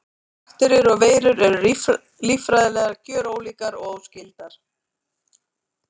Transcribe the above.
Bakteríur og veirur eru líffræðilega gjörólíkar og óskyldar.